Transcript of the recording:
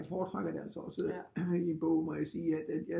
Jeg foretrækker det altså også i bog må jeg sige at